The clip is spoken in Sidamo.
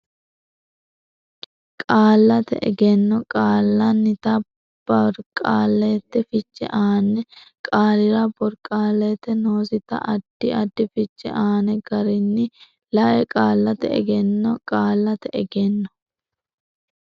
Qallate Egenno Qaallannita Borqaallate Fiche Aane qaalira borqaallate noosita addi addi fiche aane garinni la e Qallate Egenno Qallate Egenno.